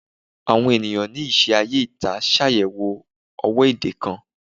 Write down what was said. Awon eniyan ni ise aye ita ṣayẹwo owo ede kan